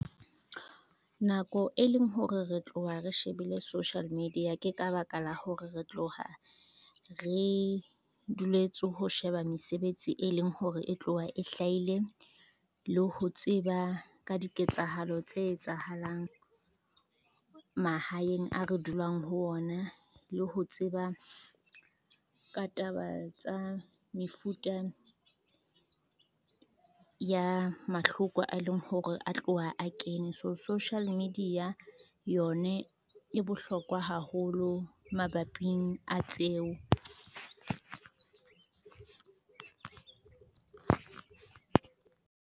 Nako e leng hore re tloha re shebile social media ke ka baka la hore re tloha re duletse ho sheba mesebetsi, e leng hore e tloha e hlahile le ho tseba ka diketsahalo tse etsahalang, mahaeng a re dulang ho ona. Le ho tseba ka taba tsa mefuta, ya mahloko a e leng hore a tloha a kene, so social media yone e bohlokwa haholo mabaping a tseo.